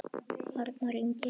Arnar Ingi.